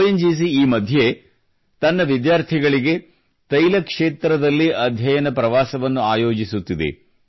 ON GC ಈ ಮಧ್ಯೆ ವಿದ್ಯಾರ್ಥಿಗಳಿಗೆ ತೈಲ ಕ್ಷೇತ್ರದಲ್ಲಿ ಅಧ್ಯಯನ ಪ್ರವಾಸವನ್ನು ಆಯೋಜಿಸುತ್ತಿದೆ